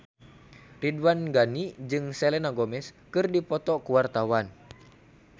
Ridwan Ghani jeung Selena Gomez keur dipoto ku wartawan